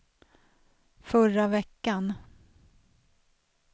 förra veckan